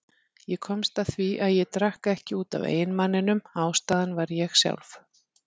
Ég komst að því að ég drakk ekki út af eiginmanninum, ástæðan var ég sjálf.